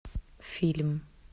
фильм